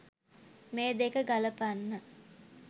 මේ දෙක ගලපන්න